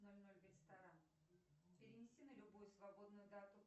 ноль ноль в ресторан перемести на любую свободную дату